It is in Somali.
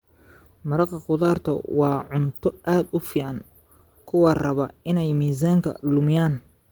Maraq khudaartu waa cunto aad u fiican kuwa raba inay miisaanka lumiyaan.